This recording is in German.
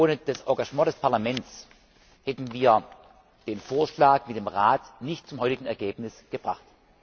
Ohne das Engagement des Parlaments hätten wir den Vorschlag mit dem Rat nicht zu dem heutigen Ergebnis gebracht.